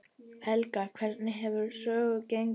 Helga, hvernig hefur söfnunin gengið?